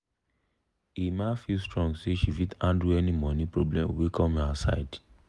emma feel strong say she fit handle any money problem wey come here side.